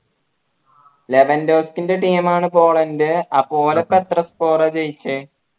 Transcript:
ന്റെ team ആണ് Poland അപ്പോ ഒരിക്ക എത്ര score ജയിച്ചേ